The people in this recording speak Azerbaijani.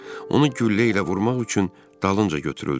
Onu güllə ilə vurmaq üçün dalınca götürüldüm.